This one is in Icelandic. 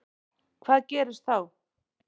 Hvað gerist þá?